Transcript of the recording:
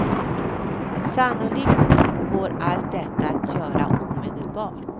Sannolikt går allt detta att göra omedelbart.